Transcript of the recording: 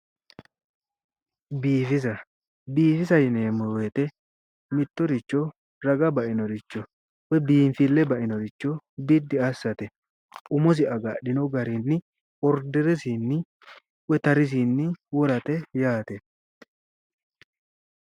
Biifisa biifisate yineemmo wote mittoricho raga bainoricho woyi biinfille bainoricho biddi assate umosi agadhino garinni orderesinni woyi tarisinni worate yaate.